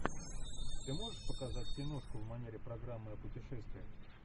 ты можешь показать киношку в манере программы о путешествиях